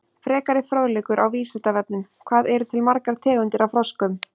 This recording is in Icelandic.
Frekari fróðleikur á Vísindavefnum: Hvað eru til margar tegundir af froskum?